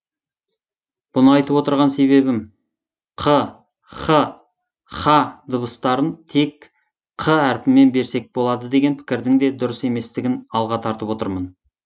бұны айтып отырған себебім қ х һ дыбыстарын тек қ әріпімен берсек болады деген пікірдің де дұрыс еместігін алға тартып отырмын